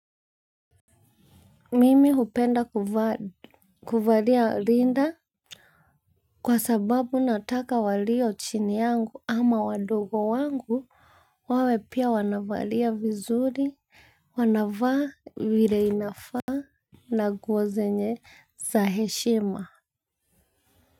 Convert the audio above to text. Mimi hupenda kuvalia rinda. Kwa sababu nataka waliochini yangu ama wadogo wangu wawe pia wanavalia vizuri wanavaa vile inafaa. Na nguo zenye za heshima.